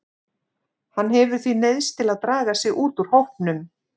Hann hefur því neyðst til að draga sig út úr hópnum.